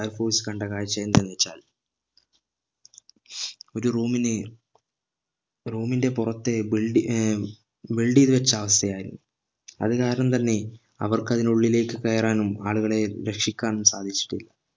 fire force കണ്ട കാഴ്ച എന്തെന്ന് വെച്ചാൽ ഒരു room ന് room ന്റെ പുറത്തെ build ഏർ build ചെയ്ത് വെച്ച അവസ്ഥ ആയിരുന്നു അത് കാരണം തന്നെ അവർക്ക് അതിനുള്ളിലേക്ക് കയറാനും ആളുകളെ രക്ഷിക്കാനും സാധിച്ചിട്ടില്ല